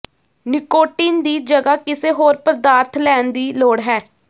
nicotine ਦੀ ਜਗ੍ਹਾ ਕਿਸੇ ਹੋਰ ਪਦਾਰਥ ਲੈਣ ਦੀ ਲੋੜ ਹੈ